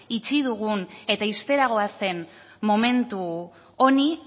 itxi dugun eta ixtera goazen momentu honi